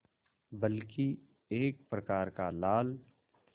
बल्कि एक प्रकार का लाल